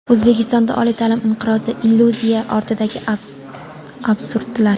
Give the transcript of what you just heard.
O‘zbekistonda oliy ta’lim inqirozi: illyuziya ortidagi absurdlar.